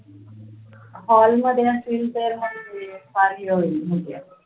hall मध्ये असेल तर मग